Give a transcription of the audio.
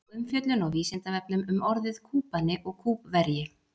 Sjá umfjöllun á Vísindavefnum um orðin Kúbani og Kúbverji.